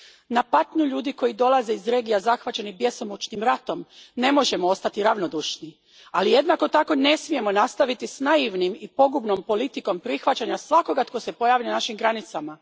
Na patnju ljudi koji dolaze iz regija zahvaćenih bjesomučnim ratom ne možemo ostati ravnodušni, ali jednako tako ne smijemo nastaviti s naivnom i pogubnom politikom prihvaćanja svakoga tko se pojavi na našim granicama.